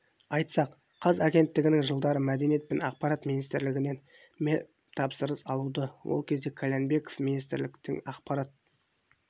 айтсақ қаз агенттігінің жылдары мәдениет және ақпарат министрлігінен мемтапсырыс алуы ол кезде қальянбеков министрліктің ақпарат